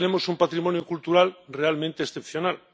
Y hoy tenemos un patrimonio cultural realmente excepcional.